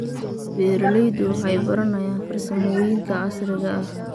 Beeraleydu waxay baranayaan farsamooyinka casriga ah.